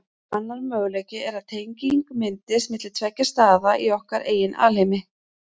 Annar möguleiki er að tenging myndist milli tveggja staða í okkar eigin alheimi.